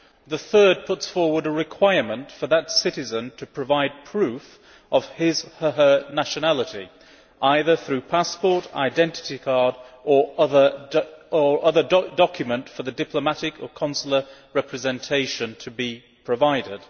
The third puts forward a requirement for that citizen to provide proof of his or her nationality, either by means of passport, identity card or other document, for the diplomatic or consular representation to be provided.